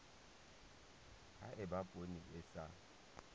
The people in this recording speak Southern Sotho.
ha eba poone e sa